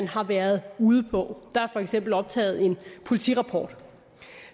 har været ude på der er for eksempel optaget en politirapport